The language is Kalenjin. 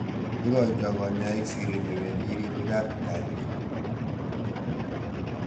Ikoitoi kanyoik siret newendi ribik ab kaliet.